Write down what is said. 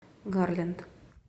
гарленд